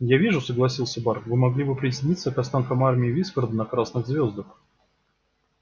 я вижу согласился бар вы могли бы присоединиться к остаткам армии вискарда на красных звёздах